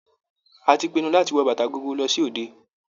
A ti pinnu láti wọ bàtà gogoro lọ sí òde.